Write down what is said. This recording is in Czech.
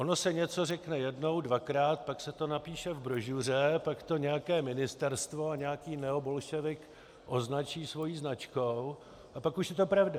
Ono se něco řekne jednou, dvakrát, pak se to napíše v brožuře, pak to nějaké ministerstvo a nějaký neobolševik označí svou značkou, a pak už je to pravda.